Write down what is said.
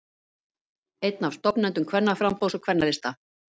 Einn af stofnendum Kvennaframboðs og Kvennalista